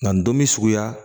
Nka nin don bi suguya